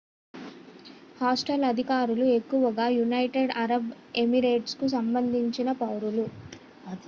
hostel అతిథులు ఎక్కువగా United Arab ఎమిరేట్స్కు సంబంధించిన పౌరులు